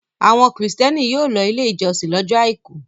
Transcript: Àwọn Kìrìtẹ́ẹ́nì yóò lọ Ilé-ìjọsìn lọ́jọ́ àìkú.